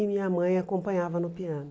E minha mãe acompanhava no piano.